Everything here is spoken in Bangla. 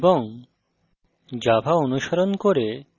program রান করা এবং